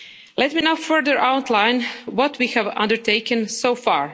Let me now further outline what we have undertaken so far.